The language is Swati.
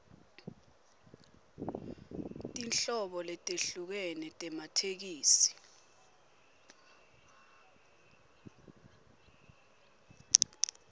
tinhlobo letehlukene tematheksthi